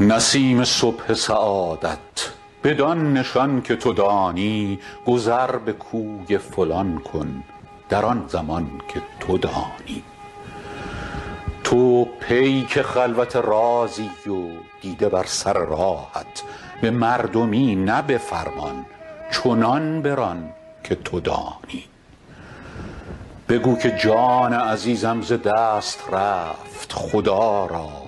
نسیم صبح سعادت بدان نشان که تو دانی گذر به کوی فلان کن در آن زمان که تو دانی تو پیک خلوت رازی و دیده بر سر راهت به مردمی نه به فرمان چنان بران که تو دانی بگو که جان عزیزم ز دست رفت خدا را